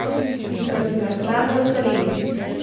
In se vzneseno veselili.